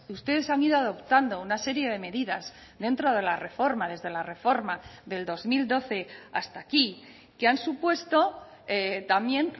ustedes han ido adoptando una serie de medidas dentro de la reforma desde la reforma del dos mil doce hasta aquí que han supuesto también